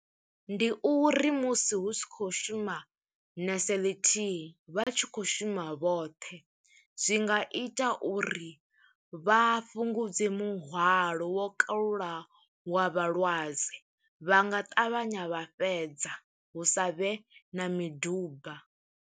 Ndi uri musi hu tshi khou shuma nese ḽithihi, vha tshi khou shuma vhoṱhe. Zwi nga ita uri vha fhungudze muhwalo wo kalulaho, wa vhalwadze vha nga ṱavhanya vha fhedza. Hu savhe na miduba.